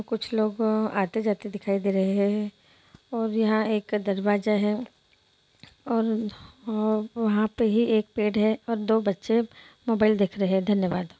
कुछ लोग आते जाते दिखाई दे रहे है और यहाँ एक दरवाज़ा है और वहाँ पे ही एक पेड़ है और दो बच्चे मोबाइल देख रहे हैं धन्यवाद।